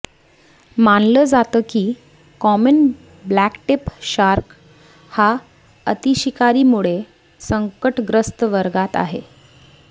मानलं जातं की कॉमन ब्लॅकटीप शार्क हा अतिशिकारीमुळे संकटग्रस्त वर्गात आहे